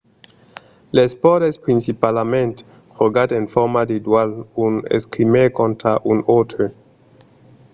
l'espòrt es principalament jogat en format de dual un escrimaire contra un autre